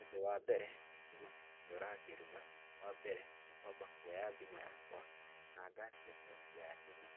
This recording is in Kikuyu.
Ũndũ wa mbere, thitima cingĩũra ngĩruga, wa mbere nĩ kwamba kũoya thimũ yakwa, na ngaakia toci ya thimũ,